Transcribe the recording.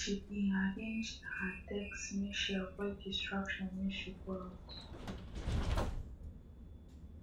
she be arranged her desk make she avoid distraction when she go out